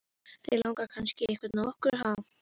Þig langar kannski í einhvern af okkur, ha?